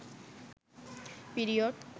period